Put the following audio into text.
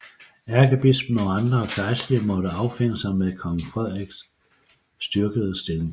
Ærkebispen og andre gejstlige måtte affinde sig med kong Frederiks styrkede stilling